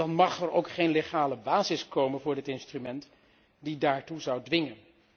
Dan mag er ook geen wettelijke basis komen voor dit instrument die daartoe zou dwingen.